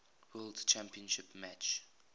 world championship match